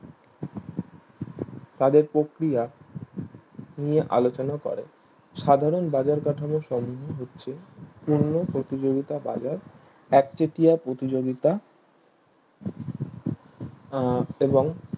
তাদের প্রক্রিয়া নিয়ে আলোচনা করে সাধারণ বাজার কাঠামোর সম্মোহন হচ্ছে পূর্ণ প্রতিযোগিতা বাজার একচেটিয়া প্রতিযোগিতা আহ এবং